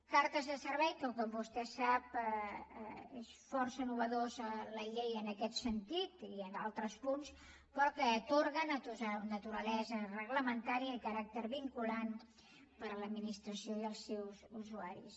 cartes de servei que com vostè sap és força innovadora la llei en aquest sentit i en altres punts però que atorga naturalesa reglamentària i caràcter vinculant per a l’administració i els seus usuaris